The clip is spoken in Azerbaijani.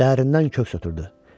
Dərindən köks ötürdü.